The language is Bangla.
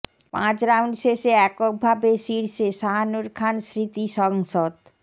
পাঁচ রাউন্ড শেষে এককভাবে শীর্ষে শাহানূর খান স্মৃতি সংসদ